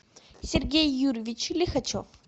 сергей юрьевич лихачев